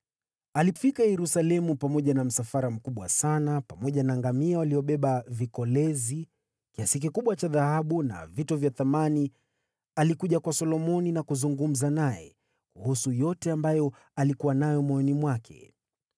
Alifika Yerusalemu akiwa na msafara mkubwa sana: pamoja na ngamia waliobeba vikolezi, kiasi kikubwa cha dhahabu na vito vya thamani; alikuja kwa Solomoni na kuzungumza naye kuhusu yote ambayo alikuwa nayo moyoni mwake.